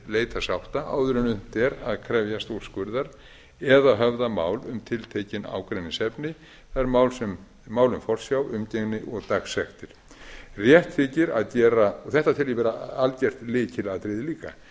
leita sátta áður en unnt er að krefjast úrskurðar eða höfða mál um tiltekin ágreiningsefni það er mál um forsjá umgengni og dagsektir þetta tel ég vera algert lykilatriði líka að